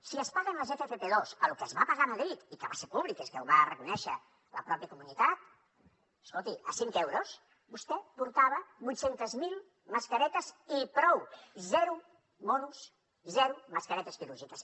si es paguen les ffp2 a lo que es va pagar a madrid i que va ser públic que és que ho va reconèixer la pròpia comunitat escolti a cinc euros vostè portava vuit cents miler mascaretes i prou zero monos zero mascaretes quirúrgiques